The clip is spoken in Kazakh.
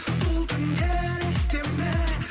сол түндер есте ме